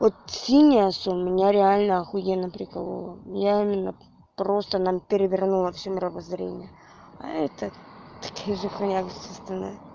вот синее всё у меня реально ахуенно прикололо я именно просто нам перевернула всё мировоззрение а это такие же халявы как все остальные